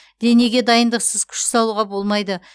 денеге дайындықсыз күш салуға болмайды